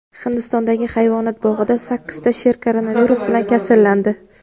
Hindistondagi hayvonot bog‘ida sakkizta sher koronavirus bilan kasallandi.